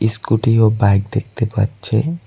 Scooty ও bike দেখতে পাচ্ছি।